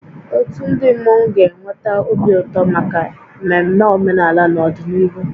Otu ndị mmọnwu ga na-eweta obi ụtọ maka mmemme omenala n'ọdịnihu